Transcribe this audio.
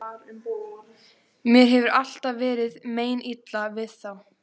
Mér hefur alltaf verið meinilla við þá.